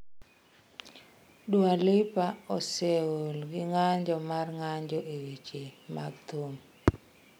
Dua Lipa oseol gi ng’anjo mar ng’anjo e weche mag thum.